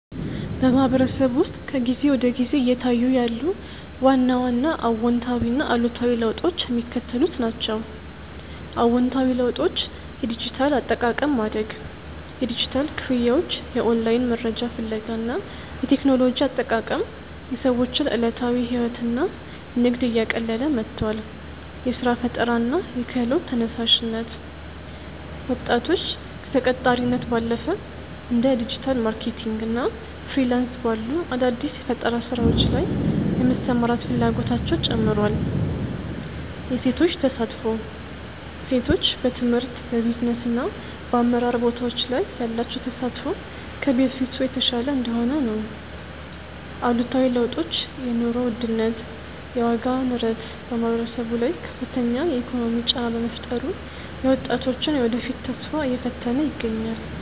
በማህበረሰቡ ውስጥ ከጊዜ ወደ ጊዜ እየታዩ ያሉ ዋና ዋና አዎንታዊና አሉታዊ ለውጦች የሚከተሉት ናቸው፦ አዎንታዊ ለውጦች የዲጂታል አጠቃቀም ማደግ፦ የዲጂታል ክፍያዎች፣ የኦንላይን መረጃ ፍለጋ እና የቴክኖሎጂ አጠቃቀም የሰዎችን ዕለታዊ ሕይወትና ንግድ እያቀለለ መጥቷል። የሥራ ፈጠራና የክህሎት ተነሳሽነት፦ ወጣቶች ከተቀጣሪነት ባለፈ እንደ ዲጂታል ማርኬቲንግ እና ፍሪላንስ ባሉ አዳዲስ የፈጠራ ሥራዎች ላይ የመሰማራት ፍላጎታቸው ጨምሯል። የሴቶች ተሳትፎ፦ ሴቶች በትምህርት፣ በቢዝነስና በአመራር ቦታዎች ላይ ያላቸው ተሳትፎ ከበፊቱ የተሻለ እየሆነ ነው። አሉታዊ ለውጦች የኑሮ ውድነት፦ የዋጋ ንረት በማህበረሰቡ ላይ ከፍተኛ የኢኮኖሚ ጫና በመፍጠሩ የወጣቶችን የወደፊት ተስፋ እየፈተነ ይገኛል።